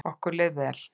Okkur leið vel.